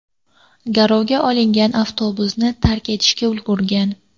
Garovga olinganlar avtobusni tark etishga ulgurgan.